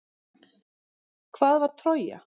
Hvað var Trója?